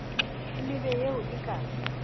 e mebe eo e ka